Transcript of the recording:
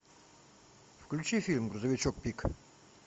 включи фильм грузовичок пик